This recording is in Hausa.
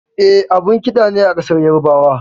E, abun ƙida ne a ƙasar Yarabawa.